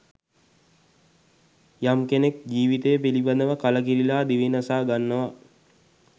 යම් කෙනෙක් ජීවිතය පිළිබඳව කලකිරිලා දිවිනසා ගන්නවා.